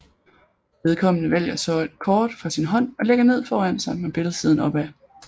Vedkommende vælger så et kort fra sin hånd og lægger ned foran sig med billedsiden opad